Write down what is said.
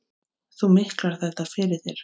Þú miklar þetta fyrir þér.